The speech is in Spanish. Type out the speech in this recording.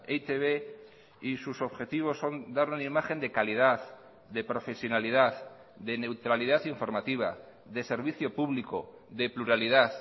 e i te be y sus objetivos son dar una imagen de calidad de profesionalidad de neutralidad informativa de servicio público de pluralidad